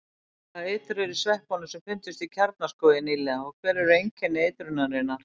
Hvaða eitur er í sveppunum sem fundust í Kjarnaskógi nýlega og hver eru einkenni eitrunarinnar?